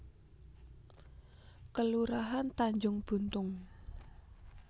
Kelurahan Tanjung Buntung